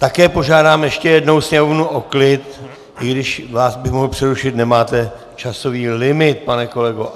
Také požádám ještě jednou sněmovnu o klid, i když vás bych mohl přerušit, nemáte časový limit, pane kolego.